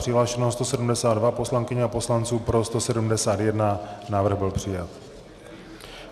Přihlášeno 172 poslankyň a poslanců, pro 171, návrh byl přijat.